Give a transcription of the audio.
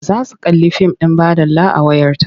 Za su kalli fim ɗin baɗala a wayarta.